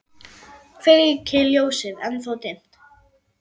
Kveiki ljósið, ennþá dimmt.